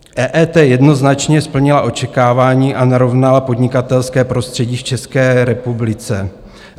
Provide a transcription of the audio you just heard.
EET jednoznačně splnila očekávání a narovnala podnikatelské prostředí v České republice.